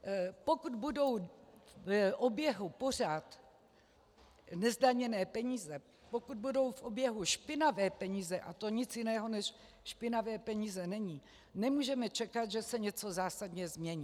Pokud budou v oběhu pořád nezdaněné peníze, pokud budou v oběhu špinavé peníze, a to nic jiného než špinavé peníze není, nemůžeme čekat, že se něco zásadně změní.